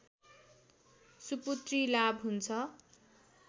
सुपुत्री लाभ हुन्छ